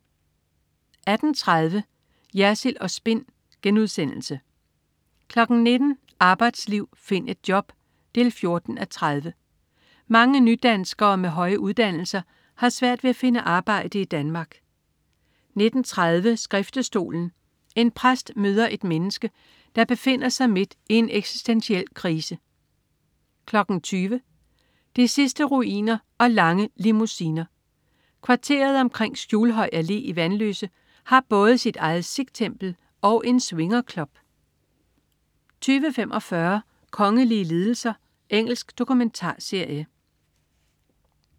18.30 Jersild & Spin* 19.00 Arbejdsliv. Find et job! 14:30. Mange nydanskere med høje uddannelser har svært ved at finde arbejde i Danmark 19.30 Skriftestolen. En præst møder et menneske, der befinder sig midt i en eksistentiel krise 20.00 De sidste ruiner og lange limousiner. Kvarteret omkring Skjulhøj Allé i Vanløse har både sit eget sikh-tempel og en swingerclub 20.45 Kongelige lidelser. Engelsk dokumentarserie